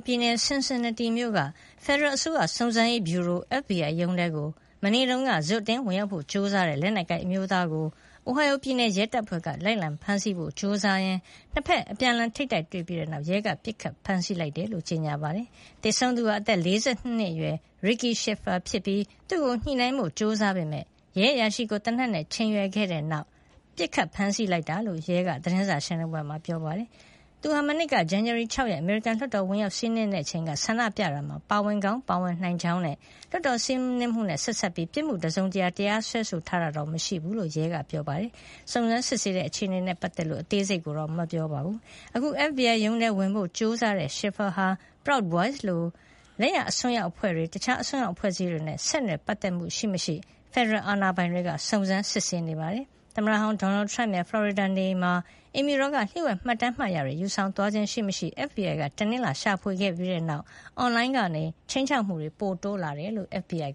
ပြည်နယ် Cincinnati မြို့ FBI ဖယ်ဒရယ်အစိုးရ စုံစမ်းရေးဗျူရိုရုံးထဲကို မနေ့တုန်းက ဇွတ်အတင်းဝင်ရောက်ဖို့ ကြိုးစားတဲ့ လက်နက်ကိုင်အမျိုးသားကို Ohio ပြည်နယ် ရဲတပ်ဖွဲ့က လိုက်လံဖမ်းဆီးဖို့ ကြိုးစားရင်း နှစ်ဘက် အပြန်အလှန်ထိပ်တိုက်တွေ့ပြီးတဲ့နောက် ရဲက ပစ်ခတ်ဖမ်းဆီးလိုက်ကြောင်း ကြေညာပါတယ်။ သေဆုံးသူဟာ အသက် ၄၂ နှစ်အရွယ် Ricky Shiffer ဖြစ်ပြီး သူ့ကို ညှိနှိုင်းဖို့ ကြိုးစားခဲ့ပေမယ့် ရဲအရာရှိကို သေနတ်နဲ့ ချိန်ရွယ်ခဲ့တဲ့နောက် ပစ်ခတ်ဖမ်းဆီးလိုက် တာလို့လည်း ရဲက သတင်းစာရှင်းလင်းပွဲမှာ ပြောပါတယ်။ သူဟာ မနှစ်က ဇန်နဝါရီလ ၆ ရက်၊ အမေရိကန်လွှတ်တော်ကို ဝင်ရောက်စီးနင်းခဲ့တဲ့အချိန် ဆန္ဒပြတာမှာ ပါဝင်ကောင်း ပါဝင်နိုင်ကြောင်းနဲ့ လွှတ်တော်စီးနင်းမှုနဲ့ ဆက်စပ်ပြီး ပြစ်မှုတစုံတရာနဲ့ တရားစွဲဆိုထားတာတော့ မရှိတဲ့အကြောင်း ရဲတပ်ဖွဲ့က ပြောပါတယ်။ စုံစမ်းစစ်ဆေးနေတဲ့ အခြေအနေတွေနဲ့ ပတ်သက်လို့ ရဲအရာရှိတွေက အသေးစိတ် ပြောဆိုတာမျိုးတော့ မရှိပါဘူး။ အခု FBI ရုံးကို ဝင်ရောက်ဖို့ ကြိုးစားခဲ့တဲ့ Shiffer ဟာ Proud Boys လို လက်ယာအစွန်းရောက်အဖွဲ့တွေ၊ တခြား အစွန်းရောက်အဖွဲ့အစည်းတွေနဲ့ ဆက်နွယ်ပတ် သက်မှု ရှိမရှိ ဖက်ဒရယ်အာဏာပိုင်တွေက စုံစမ်းစစ်ဆေးနေပါတယ်။ သမ္မတဟောင်း Donald Trump ရဲ့ ဖလော်ရီဒါ နေအိမ်မှာ အိမ်ဖြူတော်က လျှို့ဝှက် မှတ်တမ်းမှတ်တရာတွေ ယူဆောင်သွားခြင်း ရှိမရှိ FBI က တနင်္လာနေ့က ရှာဖွေခဲ့ပြီးတဲ့နောက် အွန်လိုင်းကနေ ခြိမ်းခြောက်မှုတွေ ပိုရှိလာတယ်လို့ FBI